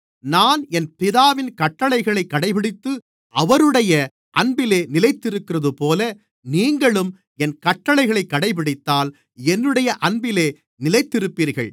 நான் என் பிதாவின் கட்டளைகளைக் கடைபிடித்து அவருடைய அன்பிலே நிலைத்திருக்கிறதுபோல நீங்களும் என் கட்டளைகளைக் கடைபிடித்தால் என்னுடைய அன்பிலே நிலைத்திருப்பீர்கள்